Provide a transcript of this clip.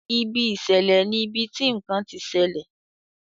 Ibi ìṣẹ̀lẹ̀ ní ibití nkán tí ṣẹlẹ.